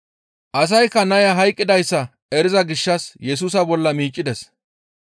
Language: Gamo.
Asaykka naya hayqqidayssa eriza gishshas Yesusa bolla miiccides.